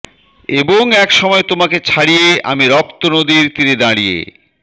এবং এক সময় তোমাকে ছাড়িয়ে আমি রক্ত নদীর তীরে দাঁড়িয়ে